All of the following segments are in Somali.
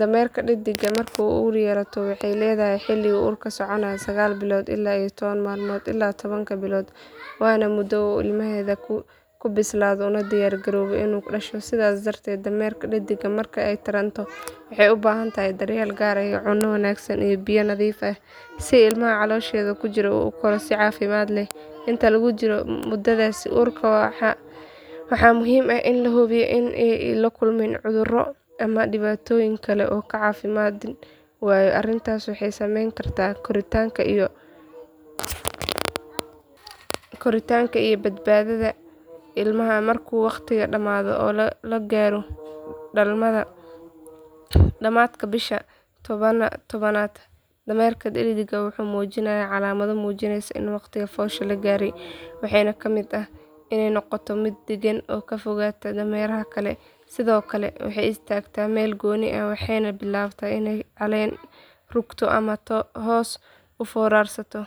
Dameerka dhedig marka ay uur yeelato waxay leedahay xilli uur oo soconaya sagaal bilood iyo toban maalmood ilaa tobanka bilood waana muddada uu ilmaheeda ku bislaado una diyaar garoobo inuu ka dhasho sidaas darteed dameerka dhedig marka ay taranto waxay ubaahantahay daryeel gaar ah cunto wanaagsan iyo biyo nadiif ah si ilmaha caloosheeda ku jira uu u koro si caafimaad leh inta lagu jiro muddadaas uurka ah waxaa muhiim ah in la hubiyo in aanay la kulmin cudurro ama dhibaatooyin kale oo caafimaad waayo arrintaasi waxay saameyn kartaa koritaanka iyo badbaadada ilmaha markuu waqtigu dhamaado oo la gaaro dhammaadka bisha tobnaad dameerka dhedig waxay muujinaysaa calaamado muujinaya in waqtiga foosha la gaaray waxaana ka mid ah inay noqoto mid degan oo ka fogaata dameeraha kale sidoo kale waxay istaagtaa meel gooni ah waxayna bilaabtaa inay caleen ruugto ama hoos u foorarsato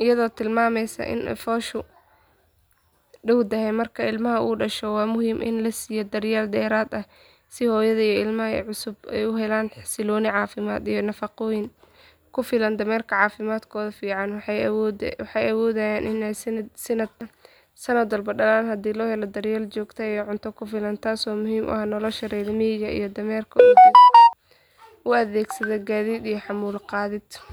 iyadoo tilmaamaysa in fooshu dhowdahay marka ilmaha uu dhasho waa muhiim in la siiyo daryeel dheeraad ah si hooyada iyo ilmaha cusub ay u helaan xasillooni caafimaad iyo nafaqo ku filan dameeraha caafimaadkoodu fiican yahay waxay awoodayaan inay sannad walba dhalaan haddii loo helo daryeel joogto ah iyo cunto ku filan taasoo muhiim u ah nolosha reer miyiga oo dameeraha u adeegsada gaadiid iyo xamuul qaadid.